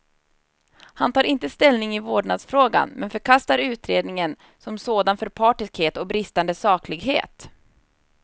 Han tar inte ställning i vårdnadsfrågan, men förkastar utredningen som sådan för partiskhet och bristande saklighet.